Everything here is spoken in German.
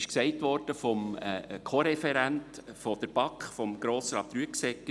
Der Co-Referent der BaK, Grossrat Rüegsegger, hat es gesagt: